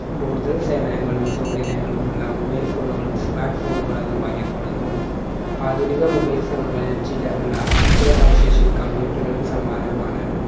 കൂടുതൽ സേവനങ്ങളും സൗകര്യങ്ങളും ഉള്ള mobile phone കളും smart phone കളെന്നും അറിയപ്പെടുന്നു. ആധുനിക mobile phone കളിൽ ചില ഉള്ള ചില സവിശേഷതകൾ computer കൾക്ക് സമാനവുമാണ്